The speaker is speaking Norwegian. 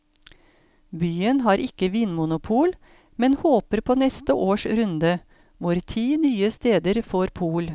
Byen har ikke vinmonopol, men håper på neste års runde, hvor ti nye steder får pol.